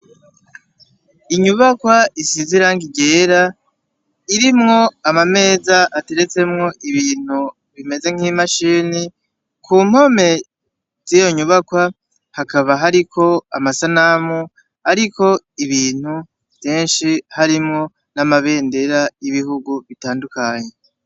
Inyubakwa isize irangi ryera irimwo amameza imashini ateretsemwo ibintu bimeze nk' imashini ku mpome z' iyo nyubakwa hakaba hariko amasanamu ariko ibintu vyinshi harimwo n' amabendera y' ibihugu bitandukanye.